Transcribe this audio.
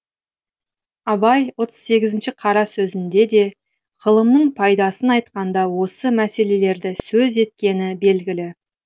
абай отыз сегізінші қара сөзінде де ғылымның пайдасын айтқанда осы мәселелерді сөз еткені белгілі